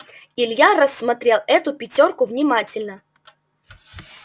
илья рассмотрел эту пятёрку внимательно